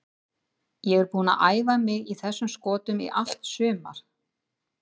Ég er búinn að æfa mig í þessum skotum í allt sumar.